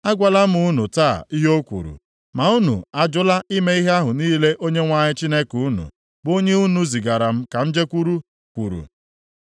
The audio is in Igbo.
Agwala m unu taa ihe o kwuru, ma unu ajụla ime ihe ahụ niile Onyenwe anyị Chineke unu, bụ onye unu zigara m ka m jekwuru, kwuru.